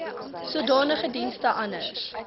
sodanige dienste anders